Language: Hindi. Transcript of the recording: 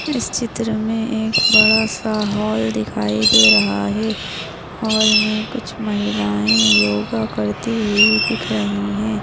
इस चित्र मे एक बडा सा हॉल दिखाई दे रहा है हॉल मे कुछ महिलाये योगा करती हुई दिख रही है।